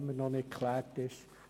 Dies ist immer noch nicht geklärt.